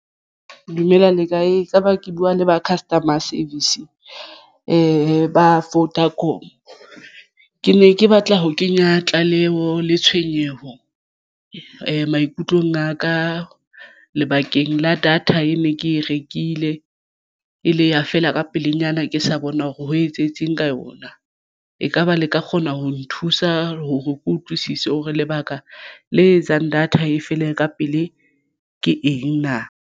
Dumelang le kae? Ekaba ke buwa le ba customer service ba Vodacom. Ke ne ke batla ho kenya tlaleho le tshwenyeho maikutlong a ka lebakeng la data e ne ke e rekile e le ya fela ka pelenyana ke sa bona hore ho etsahetseng ka yona ekaba le ka kgona ho nthusa hore ke utlwisise hore lebaka le etsang data e fele ka pele ke eng na?